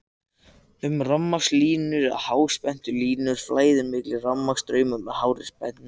um rafmagnslínur eða háspennulínur flæðir mikill rafstraumur með hárri spennu